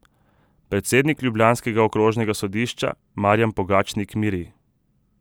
Predsednik ljubljanskega okrožnega sodišča Marjan Pogačnik miri.